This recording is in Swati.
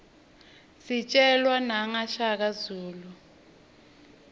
sijelwa naqa shaka zulu